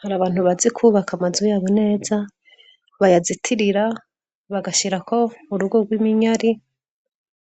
Hari abantu bazi kwubaka amazu yabo neza bayazitirira bagashirako urugo gw' iminyari